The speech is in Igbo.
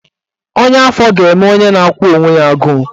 Ọnya afọ ga-eme onye na-akwụ onwe ya agụụ